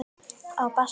Á bassa.